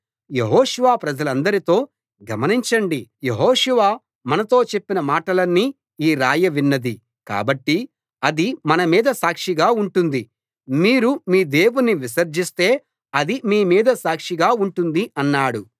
యెహోషువ ప్రజలందరితో గమనించండి యెహోషువ మనతో చెప్పిన మాటలన్నీ ఈ రాయి విన్నది కాబట్టి అది మనమీద సాక్షిగా ఉంటుంది మీరు మీ దేవుని విసర్జిస్తే అది మీ మీద సాక్షిగా ఉంటుంది అన్నాడు